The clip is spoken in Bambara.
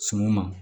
Suman ma